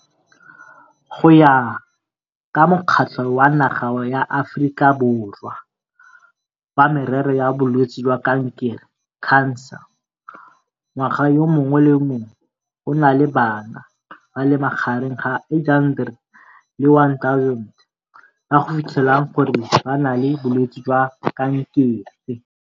Go ya ka Mokgatlo wa Naga ya Aforika Borwa wa Merero ya Bolwetse jwa Kankere, CANSA, ngwaga yo mongwe le yo mongwe go na le bana ba le magareng ga 800 le 1 000 ba go fitlhelwang gore ba na le bolwetse jwa kankere.